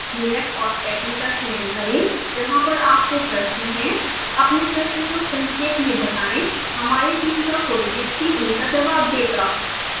minute और second का चयन करें जहाँ पर आपको प्रश्न है अपने प्रश्न को संक्षेप में बताएं हमारी टीम का कोई व्यक्ति उनका जवाब देगा